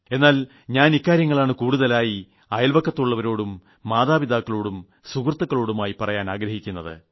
എന്നാൽ ഞാൻ ഇക്കാര്യങ്ങളാണ് കൂടുതലായി അയൽവക്കത്തുളളവരോടും മാതാപിതാക്കളോടും സുഹൃത്തുകളോടുമായി പറയാൻ ആഗ്രഹിക്കുന്നത്